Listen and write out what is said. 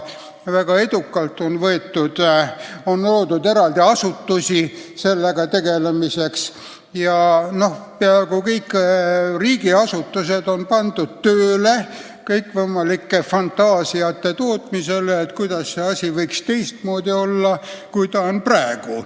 On loodud eraldi asutusi "riigireformiga" tegelemiseks ja peaaegu kõik riigiasutused on pandud tootma kõikvõimalikke fantaasiaid, kuidas asjad võiksid olla teistmoodi, kui nad on praegu.